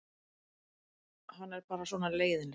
Hann er bara svona leiðinlegur.